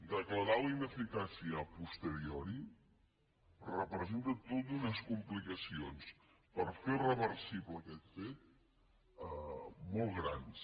declarar la ineficàcia a posteriori representa totes unes complica·cions per fer reversible aquest fet molt grans